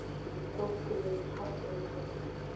Rauða húsinu hrópuðu eins hátt og þeir gátu.